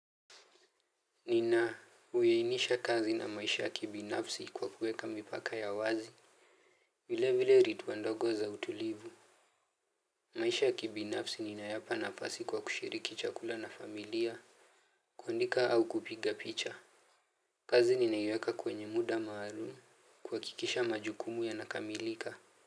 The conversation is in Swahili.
Nina, uyeinisha kazi na maisha kibinafsi kwa kuweka mipaka ya wazi. Vile vile ritwa ndogo za utulivu. Maisha ya kibinafsi ninayapa nafasi kwa kushiriki chakula na familia. Kuandika au kupiga picha. Kazi ninaiweka kwenye muda maalum kuhakikisha majukumu ya nakamilika.